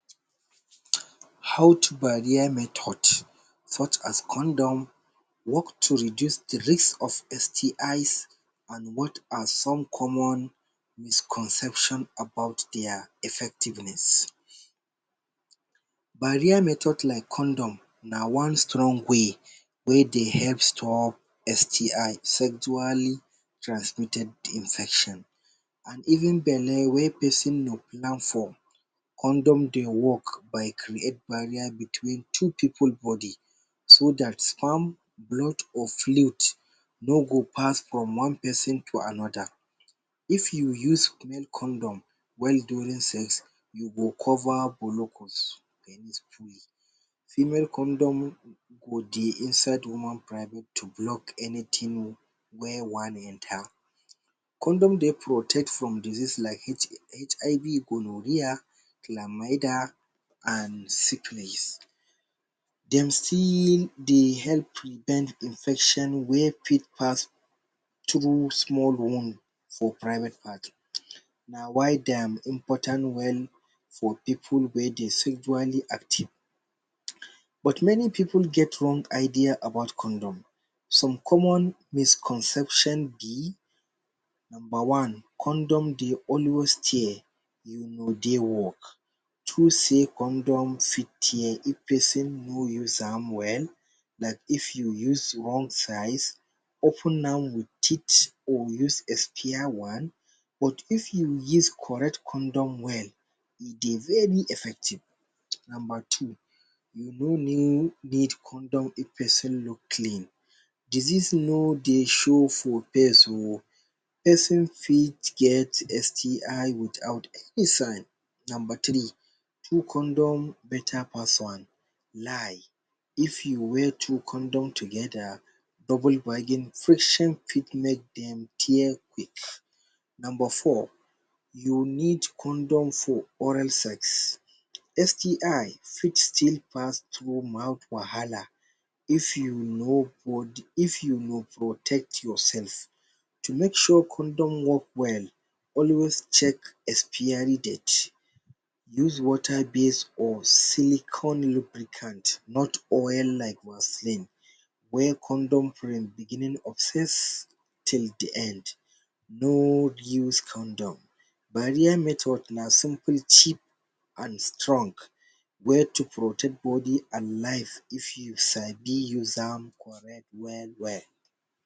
um Health barrier methods such as condoms work to reduce de risk of STI’S and what are some common misconceptions about their effectiveness Barrier method like condom, na one strong way, wey dey help stop STI’s sexually transmitted infections and even belle wey person no plan for. condom dey work like great barrier between two pipu body so that sperm, blood or fluid no go pass from one person to another. if you use male condom while during sex, you go cover blocos (penis) free female condom go dey inside woman private to block anything wey wan enter. condom dey protect from disease like HIV gonorrhoea Chlamydia and syphilis. Dem still dey help prevent infection wey fit pass through small room for private part um na why dem important well for Pipu wey dey sexually active um but many pipu get wrong idea about condom. some common misconceptions be: number one, condom dey always tear, e no dey work to sey condom fit tear if person no use am well, like if you use wrong size, open am with teeth or use expire one, but if you use correct condom well, e dey very effective[um]. number two: you no need condom: if person no clean, disease no dey show for face oh. person fit get STI’S without a sign. number three two condom beta pass one lie: if you wear two condom together, double bady friction for make dem tear quick. Number four, you need condom for oral sex. STI fit still pass through mouth wahala if you no prod, if you no protect yourself. To make sure condom work well, always check expiry date use. wata base or silicon lubricant not oil like Vaseline, wear condom from beginning of sex till de end. no re-use condom. barrier method na simple cheap and strong way to protect body and life if you sabi use am correct well well.